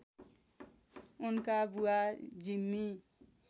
उनका बुवा जिम्मी